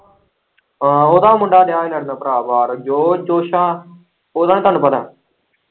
ਉਹਦਾ ਮੁੰਡਾ ਦਿਆਂ ਹੀ ਲੜਨ ਭਰਾ ਜੋਰ-ਜੋਸ਼ਾਂ ਉਹਦਾ ਨੀ ਤੁਹਾਨੂੰ ਪਤਾ।